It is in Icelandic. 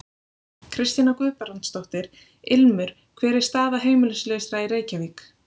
Kristjana Guðbrandsdóttir: Ilmur hver er staða heimilislausra í Reykjavík?